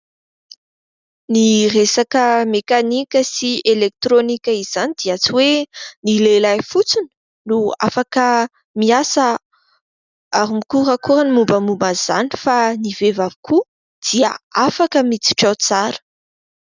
Ny resaka mekanika sy elektronika izany dia tsy hoe ny lehilahy fotsiny no afaka miasa ary mikorakora ny mombamomba an'izany fa ny vehivavy koa dia afaka miditra ao tsara.